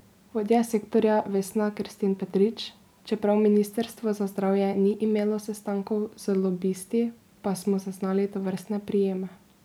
Vodja sektorja Vesna Kerstin Petrič: 'Čeprav ministrstvo za zdravje ni imelo sestankov z lobisti, pa smo zaznali tovrstne prijeme.